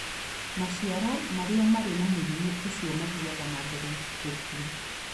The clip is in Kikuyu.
Maciaro marĩa marĩ na mũrimũ ũcio mathiaga na mbere gũkua.